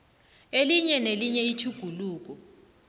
elinye nelinye itjhuguluko